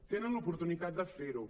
tenen l’oportunitat de fer ho